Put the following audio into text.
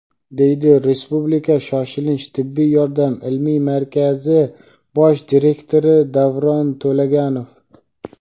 deydi Respublika shoshilinch tibbiy yordam ilmiy markazi bosh direktori Davron To‘laganov.